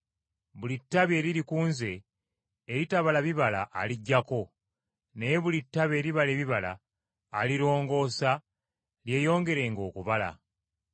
Buli ttabi eriri ku Nze eritabala bibala aliggyako. Naye buli ttabi eribala ebibala, alirongoosa lyeyongerenga okubala.